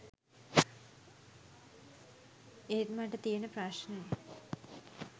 ඒත මට තියෙන ප්‍රශ්නේ